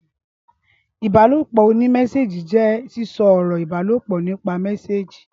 ìbálòpọ̀ oní mẹ́sééjì jẹ́ sísọ ọ̀rọ̀ ìbálòpọ̀ nípa mẹ́sééjì